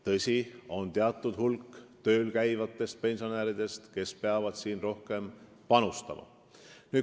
Tõsi, on teatud hulk tööl käivaid pensionäre, kes peavad siin rohkem panustama.